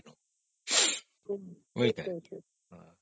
noise